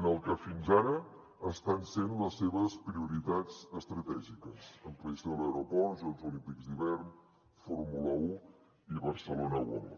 en el que fins ara estan sent les seves prioritats estratègiques ampliació de l’aeroport jocs olímpics d’hivern fórmula un i barcelona world